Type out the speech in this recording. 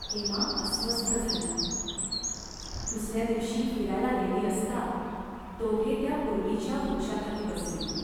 हेमा अस्वस्थ झाली. दुसऱ्या दिवशी फिरायला गेली असता दोघे त्या पूर्वीच्या वृक्षाखाली बसली.